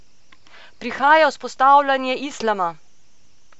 Prihaja vzpostavljanje islama!